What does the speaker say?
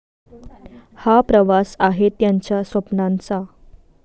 हा प्रवास आहे त्यांच्या स्वप्नांचा.